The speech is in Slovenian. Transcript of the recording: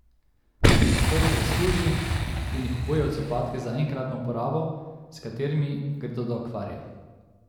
Nato jih razkuži in jih obuje v copatke za enkratno uporabo, s katerimi gredo do akvarija.